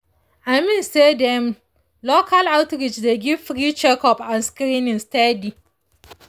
i mean say dem local outreach dey give free checkup and screening steady.